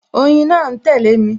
Oyin náà ń tẹle mi